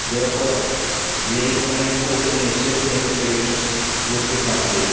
Therefore, we recommended opening accession negotiations with the country.